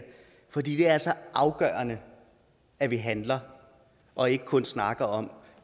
fordi det er så afgørende at vi handler og ikke kun snakker om